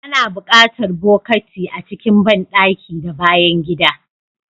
Ana buƙatar bokati a cikin banɗaki da bayan gida.